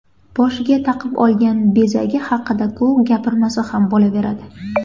Boshiga taqib olgan bezagi haqida-ku gapirmasa ham bo‘laveradi.